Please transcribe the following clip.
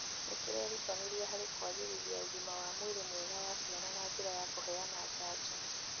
nĩ kĩrerutanĩria harĩ kwagĩrithia ũgima wa mwĩrĩ mwega wa ciana na njĩra ya kũheana njanjo